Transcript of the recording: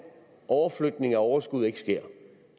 overflytning af overskud ikke sker